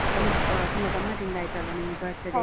ಅಹ್ ತುಂಬಾ ಗಮ್ಮತ್ತಿಂದ ಆಯ್ತಲ್ವಾ ನಿಮ್ birthday ?